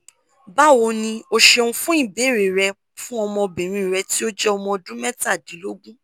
bawo ni o ṣeun fun ibeere rẹ fun ọmọbinrin rẹ ti o jẹ ọmọ ọdun mẹtadilogun